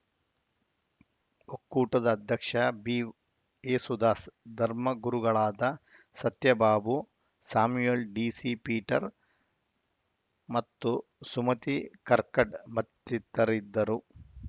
ಒಕ್ಕೂಟದ ಅಧ್ಯಕ್ಷ ಬಿಏಸುದಾಸ್‌ ಧರ್ಮಗುರುಗಳಾದ ಸತ್ಯಬಾಬು ಸ್ಯಾಮುಯಲ್‌ ಡಿಸಿಪೀಟರ್‌ ಮತ್ತು ಸುಮತಿ ಕರ್ಕಡ ಮತ್ತಿತರಿದ್ದರು